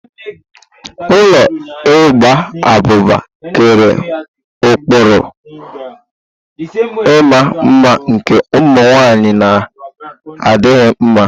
Ụlọ igba abụba kere ụkpụrụ ịma mma nke ụmụ nwaanyị na adịghị mma.